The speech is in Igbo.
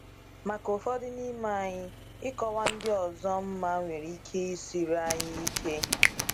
Maka ụfọdụ n’ime anyị, ịkọwa ndị ọzọ mma nwere ike isiri anyị ike.